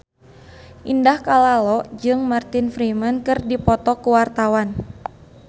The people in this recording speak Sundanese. Indah Kalalo jeung Martin Freeman keur dipoto ku wartawan